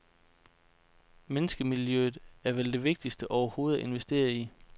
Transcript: Menneskemiljøet er vel det vigtigste overhovedet at investere i.